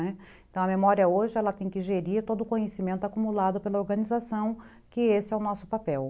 Né, então, a memória hoje tem que gerir todo o conhecimento acumulado pela organização, que esse é o nosso papel.